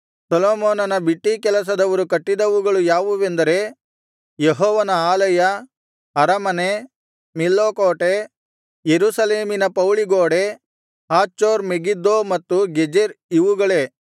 ಸೊಲೊಮೋನನ ಬಿಟ್ಟೀ ಕೆಲಸದವರು ಕಟ್ಟಿದವುಗಳು ಯಾವುವೆಂದರೆ ಯೆಹೋವನ ಆಲಯ ಅರಮನೆ ಮಿಲ್ಲೋ ಕೋಟೆ ಯೆರೂಸಲೇಮಿನ ಪೌಳಿಗೋಡೆ ಹಾಚೋರ್ ಮೆಗಿದ್ದೋ ಮತ್ತು ಗೆಜೆರ್ ಇವುಗಳೇ